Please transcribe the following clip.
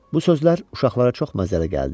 Bu sözlər uşaqlara çox məzəli gəldi.